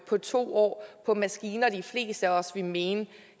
på to år på maskiner de fleste af os ville mene